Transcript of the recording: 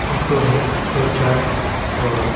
photo है दो-चार और--